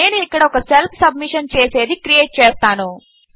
నేను ఇక్కడ ఒక సెల్ఫ్ సబ్మిషన్ చేసేది క్రియేట్ చేస్తాను